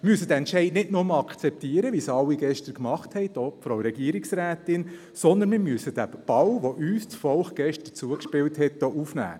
Wir müssen diesen Entscheid nicht nur akzeptieren, wie es gestern alle – auch die Frau Regierungsrätin – gemacht haben, vielmehr müssen wir den Ball, den uns das Volk gestern zugespielt hat, hier aufnehmen.